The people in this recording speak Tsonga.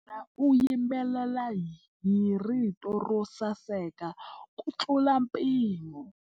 Wanuna u yimbelela hi rito ro saseka kutlula mpimo.